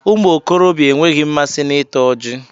Ụmụ okorobịa enweghị mmasị na ịta ọji